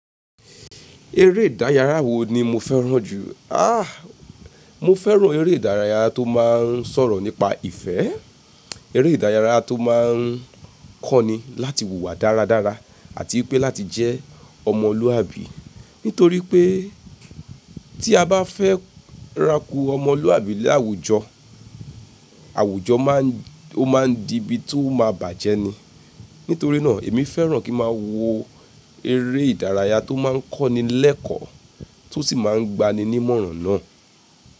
Eré ìdárayá wo ni mo fẹ́ràn jù? Ah! Mo fẹ́ràn eré ìdárayá tó máa ń sọ̀rọ̀ nípa ìfẹ́, eré ìdárayá tó máa ń kọ́ ni láti wùwà dáradára àti wi pé láti jẹ́ ọmọlúàbí. Nítorí pé tí a bá fẹ́ ráku ọmọlúàbí ni àwùjọ, àwùjọ má ń, ó má ń di ibi tó máa bàjẹ́ ni. Nítorí náà, èmi fẹ́ràn kí n máa wo eré ìdárayá tó máa ń kọ́ni lẹ́kọ̀ọ́ tó sì máa ń gba ni ní ìmọ̀ràn náà.